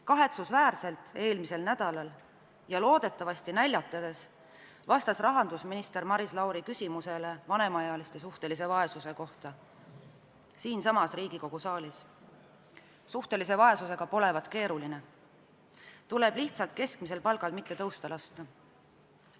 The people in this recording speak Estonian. Kahetsusväärselt vastas eelmisel nädalal, loodetavasti naljatades, rahandusminister Maris Lauri küsimusele vanemaealiste suhtelise vaesuse kohta siinsamas Riigikogu saalis, et suhtelise vaesusega polevat keeruline, tuleb lihtsalt keskmisel palgal mitte tõusta lasta.